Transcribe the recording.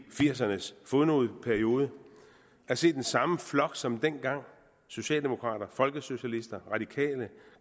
firserne s fodnoteperiode jeg ser den samme flok som dengang socialdemokrater folkesocialister radikale